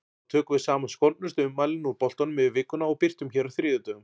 Þá tökum við saman skondnustu ummælin úr boltanum yfir vikuna og birtum hér á þriðjudögum.